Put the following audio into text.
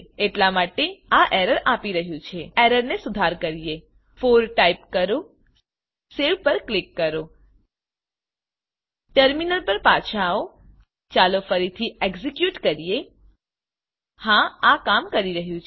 એટલા માટે આ એરર આપી રહ્યું છે એરરને સુધાર કરીએ 4 ટાઈપ કરો સેવ પર ક્લિક કરો ટર્મિનલ પર પાછા આવો ચાલો ફરીથી એક્ઝેક્યુટ કરીએ હા આ કામ કરી રહ્યું છે